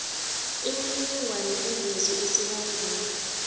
imininingwana evezwe esibawenesi